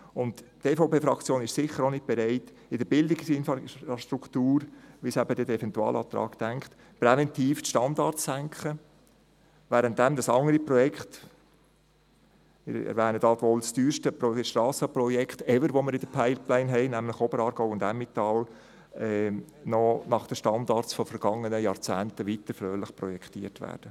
Die EVP-Fraktion ist sicher auch nicht bereit, in der Bildungsinfrastruktur, wie es der Eventualantrag vorsieht, präventiv die Standards zu senken, während andere Projekte – das teuerste Strassenprojekt «ever» in der Pipeline wäre nämlich Oberaargau und Emmental – noch nach den Standards vergangener Jahrzehnte fröhlich weiterprojektiert werden.